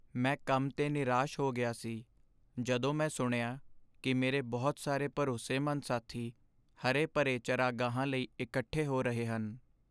ਮੈਂ ਕੰਮ 'ਤੇ ਨਿਰਾਸ਼ ਹੋ ਗਿਆ ਸੀ ਜਦੋਂ ਮੈਂ ਸੁਣਿਆ ਕਿ ਮੇਰੇ ਬਹੁਤ ਸਾਰੇ ਭਰੋਸੇਮੰਦ ਸਾਥੀ ਹਰੇ ਭਰੇ ਚਰਾਗਾਹਾਂ ਲਈ ਇਕੱਠੇ ਹੋ ਰਹੇ ਹਨ।